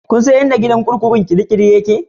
Kun san inda gidan kurkukun kirikiri yake?